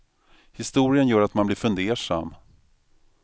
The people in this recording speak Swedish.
Historien gör att man blir fundersam.